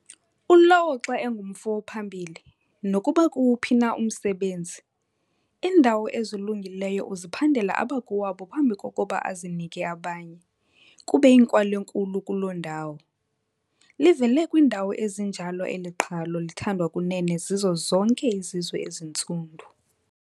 Ulowo xa engumfo ophambili, nokuba kukuwuphi na umsebenzi, iindawo ezilungileyo uziphandela abakowabo phambi kokuba azinike abanye, kuba eyinkwal'enkulu kuloo ndawo. Livele kwiindawo ezinjalo eli qhalo, lithandwa kunene zizo zonke izizwe ezintsundu.